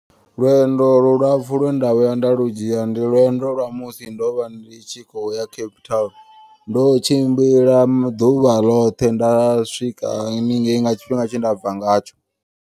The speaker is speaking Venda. Lwendo lu lapfhu lwe nda vhuya nda lu dzhia ndi lwendo lwa musi ndovha ndi tshi khou ya Cape Town. Ndo tshimbila ḓuvha ḽoṱhe nda swika haningei nga tshifhinga tshe ndabva ngatsho.